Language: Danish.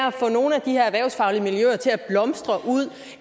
at få nogle af de her erhvervsfaglige miljøer til at blomstre ude